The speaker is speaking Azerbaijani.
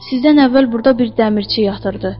sizdən əvvəl burda bir dəmirçi yatırdı.